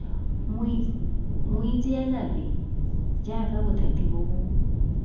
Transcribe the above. moitseanape jaaka bothati bo bo